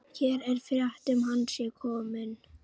Hér er frétt um að hann sé kominn.